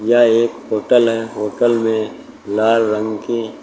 यह एक होटल है होटल मे लाल रंग की--